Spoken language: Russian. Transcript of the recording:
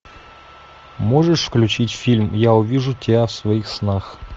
можешь включить фильм я увижу тебя в своих снах